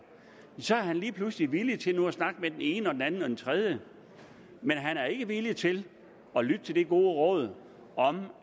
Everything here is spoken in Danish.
så er han lige pludselig nu villig til at snakke med den ene og den anden og den tredje men han er ikke villig til at lytte til det gode råd